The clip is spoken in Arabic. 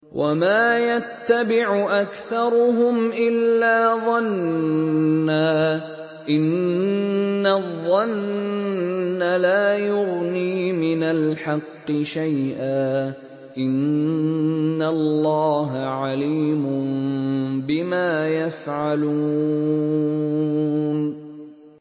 وَمَا يَتَّبِعُ أَكْثَرُهُمْ إِلَّا ظَنًّا ۚ إِنَّ الظَّنَّ لَا يُغْنِي مِنَ الْحَقِّ شَيْئًا ۚ إِنَّ اللَّهَ عَلِيمٌ بِمَا يَفْعَلُونَ